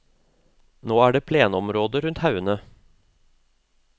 Nå er det plenområde rundt haugene.